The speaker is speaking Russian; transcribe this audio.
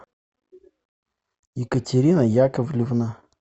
екатерина яковлевна